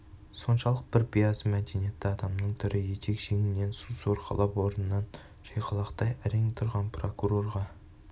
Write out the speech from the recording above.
соншалық бір биязы мәдениетті адамның түрі етек-жеңінен су сорғалап орнынан шайқалақтай әрең тұрған прокурорға